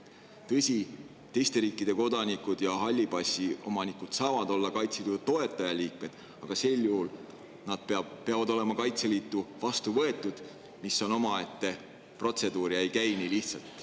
Tõsi, teiste riikide kodanikud ja halli passi omanikud saavad olla Kaitseliidu toetajaliikmed, aga sel juhul peavad nad olema Kaitseliitu vastu võetud, mis on omaette protseduur ja ei käi nii lihtsalt.